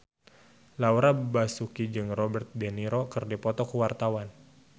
Laura Basuki jeung Robert de Niro keur dipoto ku wartawan